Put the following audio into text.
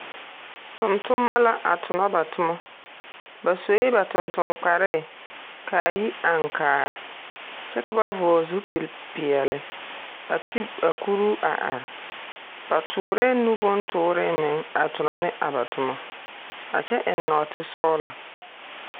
Tontonema la a tonɔ ba toma. Ba sue ba tontoŋ kpare ka a yi aŋkaa, kyɛ ka ba vɔgle zupilpeɛle, a ti a kuruu a are. Ba toorɛɛ nu bontooree meŋ a tonɔ ne a ba toma. A kyɛ eŋ nɔɔtesɔglɔ.